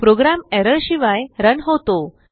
programme error शिवाय run होतो